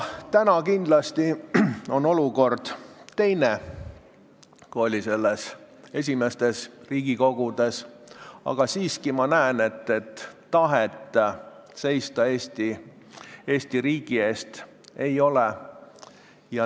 Täna on olukord kindlasti teine, kui oli esimestes Riigikogudes, aga ma siiski näen, et tahet Eesti riigi eest seista ei ole.